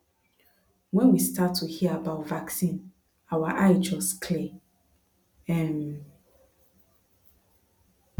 when we start to hear about vaccine our eye just clear um